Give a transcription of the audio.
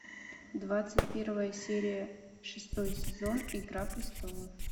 двадцать первая серия шестой сезон игра престолов